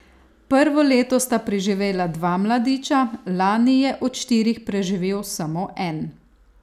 Prvo leto sta preživela dva mladiča, lani je od štirih preživel samo en.